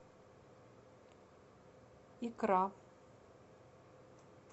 икра